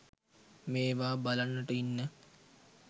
මේවා බලන්නට ඉන්න